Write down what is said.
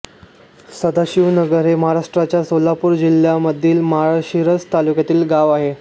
सदाशिवनगर हे महाराष्ट्राच्या सोलापूर जिल्ह्यामधील माळशिरस तालुक्यातील गाव आहे